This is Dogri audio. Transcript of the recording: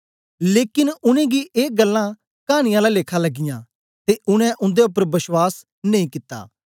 लेकन उनेंगी ए गल्लां कानी आला लेखा लगियाँ ते उनै उन्दे उपर बश्वास नेई कित्ता